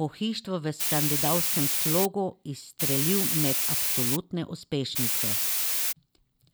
pohištvo v skandinavskem slogu izstrelil med absolutne uspešnice.